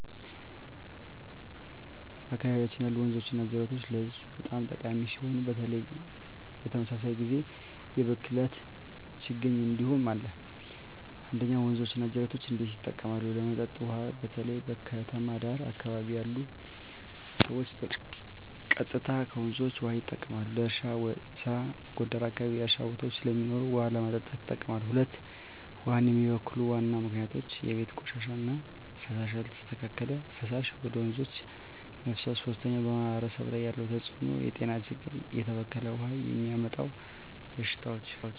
በአካባቢያችን ያሉ ወንዞችና ጅረቶች ለህዝቡ በጣም ጠቃሚ ሲሆኑ፣ በተመሳሳይ ጊዜ የብክለት ችግኝ እንዲሁም አለ። 1. ወንዞች እና ጅረቶች እንዴት ይጠቀማሉ? ለመጠጥ ውሃ: በተለይ በከተማ ዳር አካባቢ ያሉ ሰዎች ቀጥታ ከወንዞች ውሃ ይጠቀማሉ። ለእርሻ ስራ: ጎንደር አካባቢ የእርሻ ቦታዎች ስለሚኖሩ ውሃ ለማጠጣት ይጠቀማሉ። 2. ውሃን የሚበክሉ ዋና ምክንያቶች የቤት ቆሻሻ እና ፍሳሽ: ያልተስተካከለ ፍሳሽ ወደ ወንዞች መፍሰስ 3. በማህበረሰብ ላይ ያለው ተጽዕኖ የጤና ችግኝ: የተበከለ ውሃ የሚያመጣው በሽታዎች